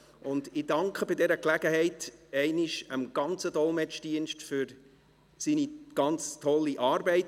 Bei dieser Gelegenheit danke ich dem ganzen Dolmetschungsdienst für seine ganz tolle Arbeit.